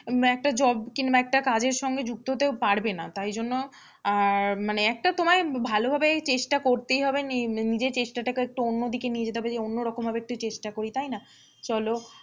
একটা job কিংবা একটা কাজের সঙ্গে যুক্ত হতে পারবে না। তাই জন্য আহ মানে একটা তোমায় ভালোভাবে চেষ্টা করতেই হবে নি~নিজের চেষ্টা টাকে একটু অন্য দিকে নিয়ে যেতে হবে যে অন্যরকম ভাবে একটু চেষ্টা করি তাই না? চলো,